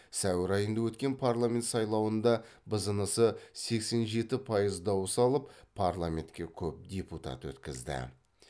сәуір айында өткен парламент сайлауында бзнс сексен жеті пайыз дауыс алып парламентке көп депутат өткізді